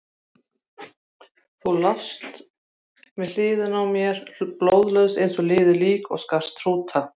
Þá lást þú við hliðina á mér, blóðlaus eins og liðið lík og skarst hrúta.